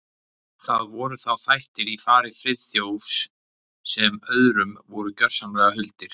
Það voru þá þættir í fari Friðþjófs sem öðrum voru gjörsamlega huldir.